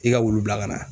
I ka wulu bila ka na